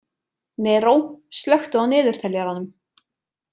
Neró, slökku á niðurteljaranum.